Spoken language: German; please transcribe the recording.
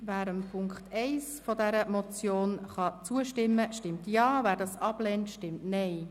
Wer der Ziffer 1 der Motion zustimmen kann, stimmt Ja, wer dies ablehnt, stimmt Nein.